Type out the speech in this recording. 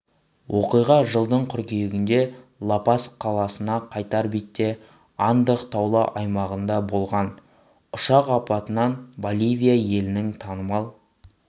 оқиға жылдың қыркүйегінде ла-пас қаласына қайтар бетте андах таулы аймағында болған ұшақ апатынан боливия елінің танымал